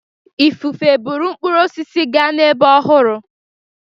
Ifufe buru mkpụrụ osisi gaa n'ebe ọhụrụ.